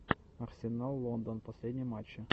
арсенал лондон последние матчи